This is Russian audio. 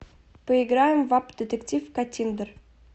поиграем в апп детектив каттиндер